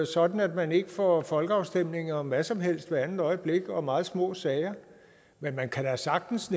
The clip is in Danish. sådan at man ikke får folkeafstemninger om hvad som helst hvert andet øjeblik og om meget små sager men man kan da sagtens